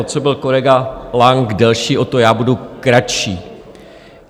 O co byl kolega Lang delší, o to já budu kratší.